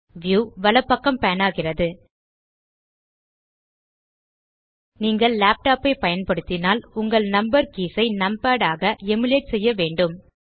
view வலப்பக்கம் pan ஆகிறது நீங்கள் லேப்டாப் ஐ பயன்படுத்தினால் உங்கள் நம்பர் கீஸ் ஐ நம்பாட் ஆக எமுலேட் செய்ய வேண்டும்